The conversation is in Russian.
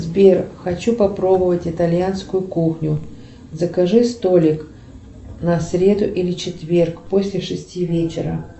сбер хочу попробовать итальянскую кухню закажи столик на среду или четверг после шести вечера